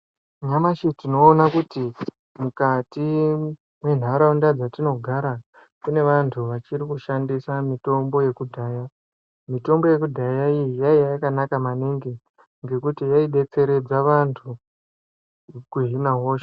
Nyamashi tinoona kuti mukati mwenharaunda dzatinogara kune vanhu vachiri kushandisa mitombo yekudhaya, mitombo yekudhaya iyi yaiya yakanaka maningi nekuti yaidetseredza vanhu kuhina hosha.